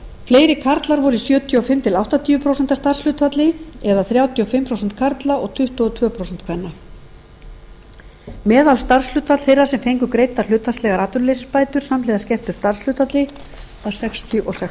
fleiri karlar voru í sjötíu og fimm til áttatíu prósent starfshlutfalli eða þrjátíu og fimm prósent karla og tuttugu og tvö prósent kvenna meðalstarfshlutfall þeirra sem fengu greiddar hlutfallslegar atvinnuleysisbætur samhliða skertu starfshlutfalli var sextíu og sex